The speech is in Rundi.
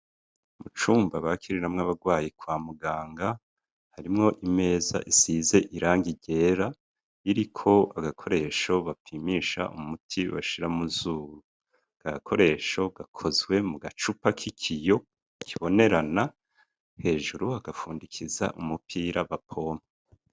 Mu cumba bakiriramwo abarwayi kwa muganga harimwo imeza isize irangi ryera iriko agakoresho bapimisha umuti bashira mu zuru ako gakoresho gakozwe mu gacupa k'ikiyo kabonerana hejuru bagafundikiza umupira bapompa